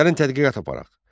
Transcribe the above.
Gəlin tədqiqat aparaq.